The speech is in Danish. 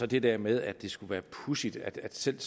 det der med at det skulle være pudsigt at selv